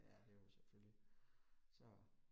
Det er det jo selvfølgelig. Så